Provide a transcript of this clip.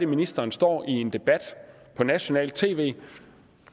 ministeren står i en debat på nationalt tv